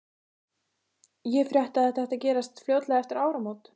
Ég frétti, að þetta ætti að gerast fljótlega eftir áramót